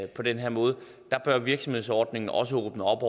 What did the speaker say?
på den her måde bør virksomhedsordningen også åbne op